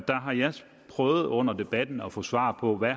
prøvet under debatten at få svar på hvad